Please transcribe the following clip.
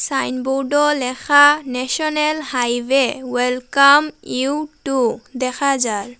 Signboard -ও লেখা national highway welcome you to দেখা যার।